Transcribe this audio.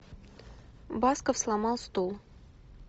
басков сломал стул